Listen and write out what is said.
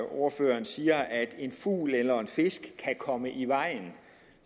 ordføreren siger at en fugl eller en fisk kan komme i vejen